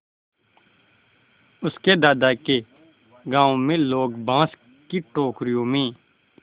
उसके दादा के गाँव में लोग बाँस की टोकरियों में